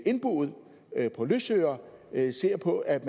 indboet og løsøret ser på at